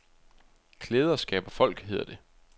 Klæder skaber folk, hedder det.